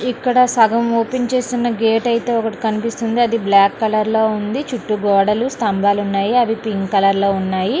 ఇక్కడ సగం ఓపెన్ చేసిన గేట్ అయితే కనిపిస్తుంది. అది బ్లాక్ కలర్ లో ఉంది. చిట్టి గోడలు స్తంభాలు ఉన్నాయి. అవి పింక్ కలర్ లో ఉన్నాయి.